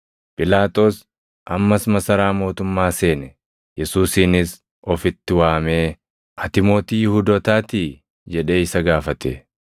Phiilaaxoos ammas masaraa mootummaa seene; Yesuusinis ofitti waamee, “Ati mootii Yihuudootaatii?” jedhee isa gaafate.